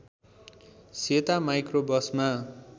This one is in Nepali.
सेता माइक्रोबसमा